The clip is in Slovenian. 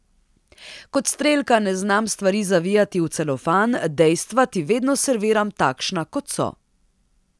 Kot strelka ne znam stvari zavijati v celofan, dejstva ti vedno serviram takšna, kot so.